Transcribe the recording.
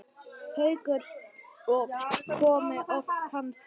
Haukur: Og komið oft kannski?